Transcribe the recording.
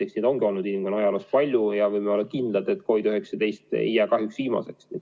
Eks neid ongi inimkonna ajaloos palju olnud ja me võime olla kindlad, et COVID-19 ei jää kahjuks viimaseks.